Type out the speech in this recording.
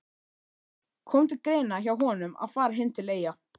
Kom til greina hjá honum að fara heim til Eyja?